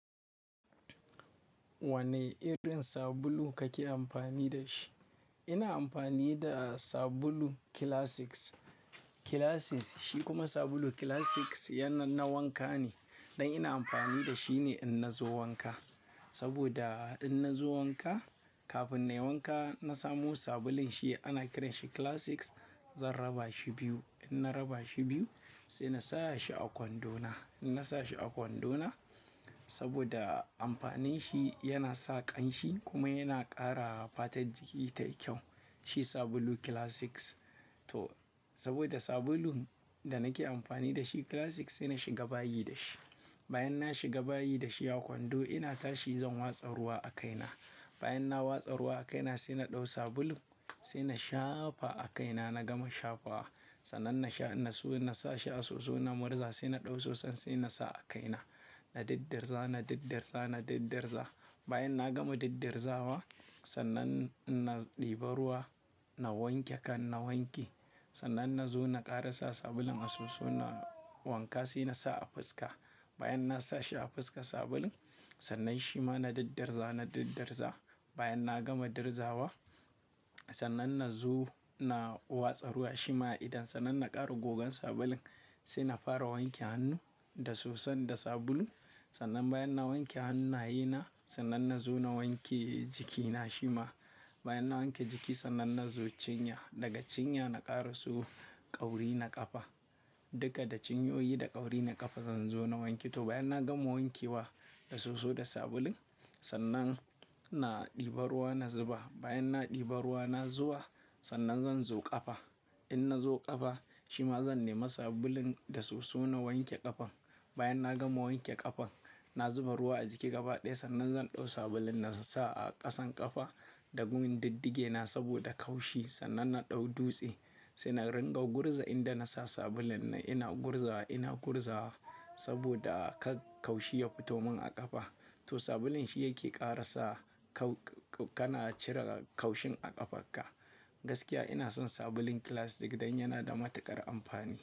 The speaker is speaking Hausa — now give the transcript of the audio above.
Wane irin sabulu kake amfani da shi? Ina amfani da sabulu Classic, Classic shi kuma sabulu Classic na wanka ne, dan ina amfani da shi ne in na zo wanka. Saboda inna zo wanka, kafin in yi wanka na samo sabulun shi ana kiran shi Classic, zan raba shi biyu. Inna raba shi biyu, sai na sa shi a kwando na. In na sa shi a kwando na, saboda amfanin shi yana sa ƙamshi kuma yana ƙara fatar jiki tayi kyau. Shi sabulu Classic. To saboda sabulun da nake amfani da shi Classic sai na shiga bayi da shi. Bayan na shiga bayi da shi a kwando ina tashi zan watsa ruwa a kaina. Bayan na watsa ruwa a kaina sai na ɗau sabulu sai na shafa a kaina, na gama shafawa. Sannan na sashi soso na murza sai na ɗau soson sai na sa a kaina. Na diddirza, na diddirza, na diddirza. Bayan na gama diddirzawa sannan na ɗiba ruwa, na wanke kan, na wanke. Sannan na zo na ƙara sa sabulun a soson wanka saina sa a fuska. Bayan na sa shi a fuska sabulun, sannan shima na diddarza, na diddarza. Bayan na gama dirzawa sannan na zo na watsa ruwa shima idan. Sannan na ƙara gogan sabulun sai na fara wanke hannu da soson da sabulu. Sannan bayan na wanke hannaye na, sannan nazo na wanke jikina shima. Bayan na wanke jiki sannan na zo cinya, daga cinya na ƙara so ƙauri na ƙafa. Duka da cinyoyi da ƙauri na ƙafa zan zo na wanke. To bayan na gama wankewa da soso da sabulun, sannan na ɗiba ruwa na zuba. Bayan na ɗiba ruwa na zuwa sannan zan zo ƙafa. In na zo ƙafa, shima zan nema sabulun da soso na wanke ƙafan. Bayan na gama wanke ƙafan, na zuba ruwa a jiki gaba ɗaya sannan zan ɗau sabulun na sa a ƙasan ƙafa da gun diddigena saboda ƙanshi. Sannan na ɗau dutse sai na ringa gurza inda na sa sabulun ina gurzawa, ina gurzawa saboda kar kaushi ya fito min a ƙafa. To sabulun shi yake ƙarasa cire ƙaushin a ƙafarka. Gaskiya ina son sabulun Classic dan yana da matuƙar amfani.